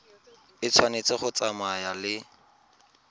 e tshwanetse go tsamaya le